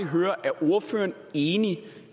høre er ordføreren enig